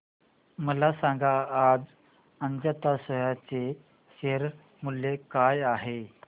मला सांगा आज अजंता सोया चे शेअर मूल्य काय आहे